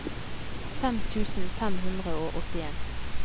fem tusen fem hundre og åttien